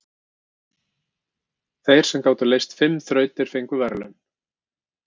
Þeir sem gátu leyst fimm þrautir fengu verðlaun.